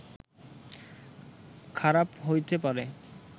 খারাপ হইতে পারে